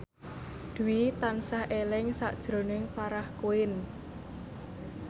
Dwi tansah eling sakjroning Farah Quinn